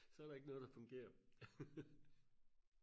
så er der ikke noget der fungerer